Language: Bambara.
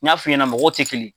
N y'a f'i ɲɛna mɔgɔw tɛ kelen yen.